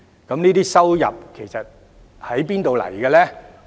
這些收入其實來自哪裏呢？